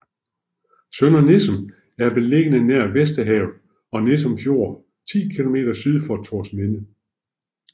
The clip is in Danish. Sønder Nissum er beliggende nær Vesterhavet og Nissum Fjord 10 kilometer syd for Thorsminde